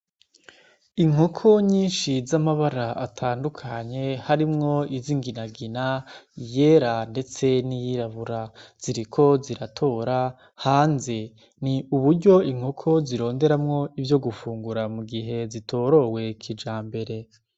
Inkoko nyinshi z'amabara atandukanye harimwo izo inginagina yera, ndetse ni yirabura ziriko ziratora hanze ni uburyo inkoko zironderamwo ivyo gufungura mu gihe zitorowekija mbere.